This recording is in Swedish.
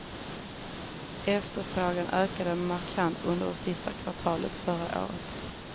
Efterfrågan ökade markant under sista kvartalet förra året.